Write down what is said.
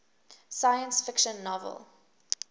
science fiction novel